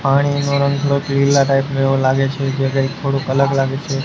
પાણીનુ રંગ થોડુક પીલા ટાઇપ નુ એવુ લાગે છે જે કઇ થોડુ અલગ લાગે છે.